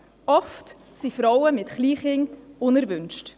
Oft sind Frauen mit Kleinkindern unerwünscht.